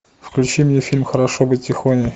включи мне фильм хорошо быть тихоней